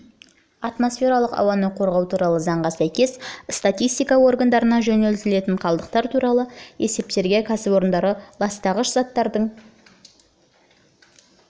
атмосфералық ауаны қорғау туралы заңға сәйкес статистика органдарына жөнелтілетін қалдықтар туралы есептерге қосымша ретінде қазақстанның кәсіпорындары ластағыш заттардың